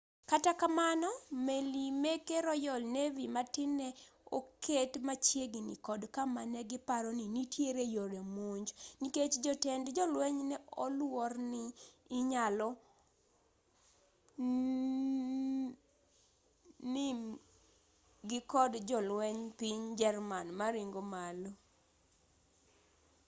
kata kamano meli meke royal navy matin ne oket machiegini kod kama negiparo ni nitie yore monj nikech jotend jolweny ne oluorni inyalo nim-gi kod jolwenj piny german maringo malo